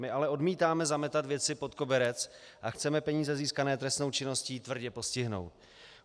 My ale odmítáme zametat věci pod koberec a chceme peníze získané trestnou činností tvrdě postihnout.